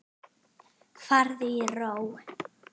Farðu í ró.